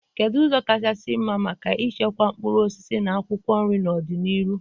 Kedu ụzọ kachasị mma maka ichekwa mkpụrụ osisi na akwụkwọ nri n'ọdịnihu?